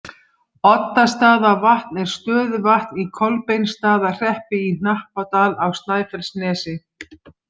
Oddastaðavatn er stöðuvatn í Kolbeinsstaðahreppi í Hnappadal á Snæfellsnesi.